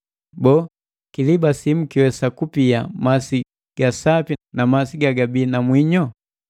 Boo, kiliba simu kiiwesa kupia masi ga sapi na masi gagabii na mwinyo?